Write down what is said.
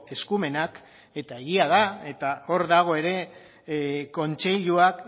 eskumenak eta egia da eta hor dago ere kontseiluak